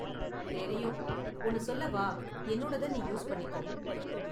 தெரியும்! ஒன்னு சொல்லவா என்னோடத நீ யூஸ் பண்ணிக்கோ.